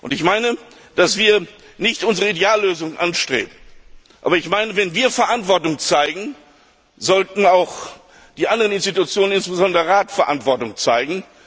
Ich meine, dass wir nicht unsere Ideallösung anstreben, aber wenn wir Verantwortung zeigen, sollten auch die anderen Institutionen, insbesondere der Rat, Verantwortung zeigen.